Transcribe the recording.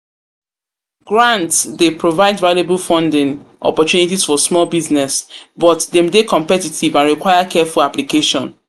Grants dey provide valuable funding opportunities for small business, but dem dey competitive and require careful application.